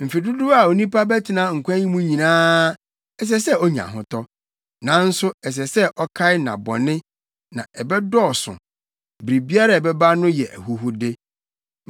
Mfe dodow a onipa bɛtena nkwa yi mu nyinaa ɛsɛ sɛ onya ahotɔ. Nanso ɛsɛ sɛ ɔkae nnabɔne na ɛbɛdɔɔso. Biribiara a ɛbɛba no yɛ ahuhude.